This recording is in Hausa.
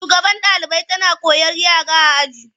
Shugabar ɗalibai tana korar yara aji.